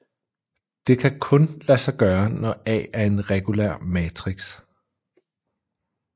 Det kan kun lade sig gøre når A er en regulær matrix